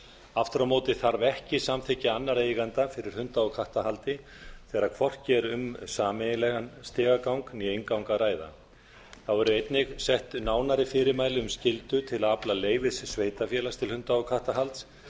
aftur á móti þarf ekki samþykki annarra eigenda fyrir hunda og kattahaldi þegar hvorki er um sameiginlegan stigagang né inngang að ræða þá eru einnig sett nánari fyrirmæli um skyldu til að afla leyfis til sveitarfélags til hunda og kattahalds en